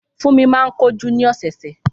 Fúnmi máa ń ko jú ni ọ̀sọ̀ọ̀sẹ̀